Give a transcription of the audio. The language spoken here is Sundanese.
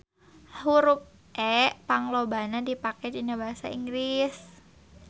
Hurup E panglobana dipake dina basa Inggris.